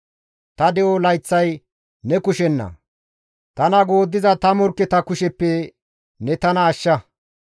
Ta de7o layththay ne kushenna; tana gooddiza ta morkketa kusheppe ne tana ashsha.